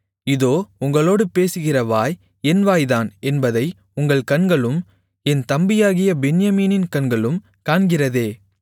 இதோ உங்களோடு பேசுகிற வாய் என் வாய்தான் என்பதை உங்கள் கண்களும் என் தம்பியாகிய பென்யமீனின் கண்களும் காண்கிறதே